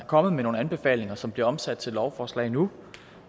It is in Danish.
kommet med nogle anbefalinger som bliver omsat til et lovforslag nu